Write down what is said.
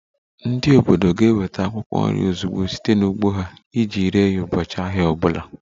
Ndị obodo ga-eweta akwụkwọ nri ozugbo site n'ugbo ha iji ree ụbọchị ahịa ọ bụla